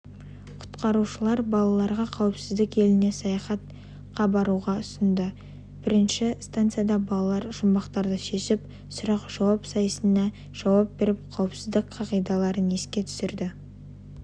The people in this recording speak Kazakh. құтқарушылар балаларға қауіпсіздік еліне саяхатқа баруға ұсынды бірінші станцияда балалар жұмбақтарды шешіп сұрақ-жауап сайысына жауап беріп қауіпсіздік қағидаларын еске түсірді